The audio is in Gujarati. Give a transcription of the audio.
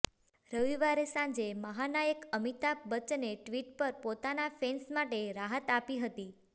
રવિવારે સાંજે મહાનાયક અમિતાભ બચ્ચને ટ્વીટ પર પોતાના ફેન્સ માટે રાહત આપી હતી